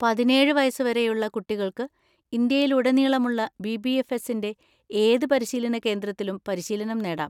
പതിനേഴ് വയസ്സുവരെയുള്ള കുട്ടികൾക്ക് ഇന്ത്യയിലുടനീളമുള്ള ബി.ബി.എഫ്.എസ്സിന്‍റെ ഏത് പരിശീലന കേന്ദ്രത്തിലും പരിശീലനം നേടാം.